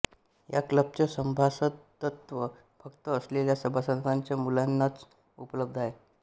या क्लबचे सभासदत्व फक्त असलेल्या सभासदांच्या मुलांनाच उपलब्ध आहे